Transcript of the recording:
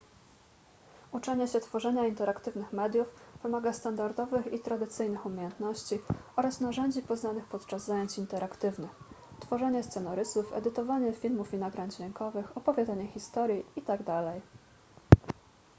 uczenie się tworzenia interaktywnych mediów wymaga standardowych i tradycyjnych umiejętności oraz narzędzi poznanych podczas zajęć interaktywnych tworzenie scenorysów edytowanie filmów i nagrań dźwiękowych opowiadanie historii itd..